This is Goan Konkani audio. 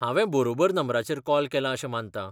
हावें बरोबर नंबराचेर कॉल केलां अशें मानतां .